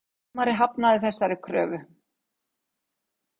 Dómari hafnaði þessari kröfu